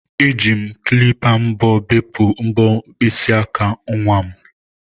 Eji m klipa mbọ bepụ mbọ mkpịsị aka nwa m